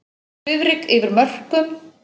Svifryk yfir mörkum